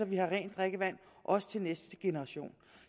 vi har rent drikkevand også til næste generation